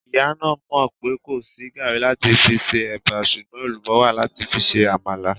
Ìyá náà mọ̀ pé kò sí gàrí láti fi se ẹ̀bà sùgbọ́n èlùbọ́ wà láti fi se àmàlà